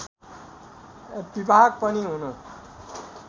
विभाग पनि हुनु